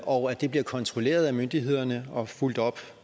og det bliver kontrolleret af myndighederne og fulgt op